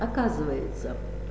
оказывается